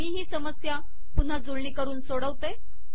मी ही समस्या पुन्हा जुळणी करून सोडवते